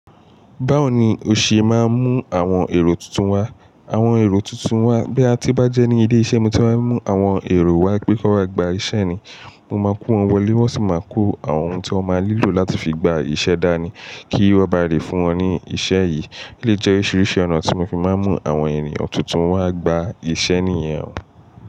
Báwo ni o ṣe máa ń mú àwọn èrò tuntun wá? Àwọn èrò tuntun wa, boya tí bá jẹ́ ní ilé iṣẹ́ mi tí wa mú àwọn èrò wá pé kon wa bá gba iṣẹ́ ni, mo máa kó wọn wọlé wọ́n sì máa kó àwọn oun tí wọ́n máa nílò láti fi gba ìṣe dá ní, kí wọn ba lè fún wọn ní ìṣe yìí. Eleyii jẹ oríṣiríṣi ọ̀nà tí mo fi máa ń mú àwọn ènìyàn tuntun wá gba ìṣe ní ìyẹn.